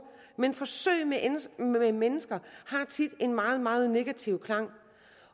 men forsøg med mennesker har tit en meget meget negativ klang